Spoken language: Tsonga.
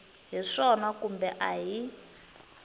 hi swona kumbe a hi